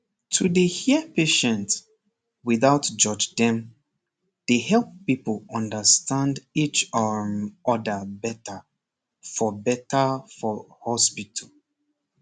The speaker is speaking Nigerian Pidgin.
to dey hear patient without judge dem dey help people understand each um other better for better for hospital